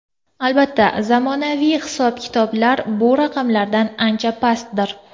Albatta, zamonaviy hisob-kitoblar bu raqamlardan ancha pastdir.